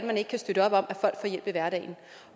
man ikke kan støtte op om at folk får hjælp i hverdagen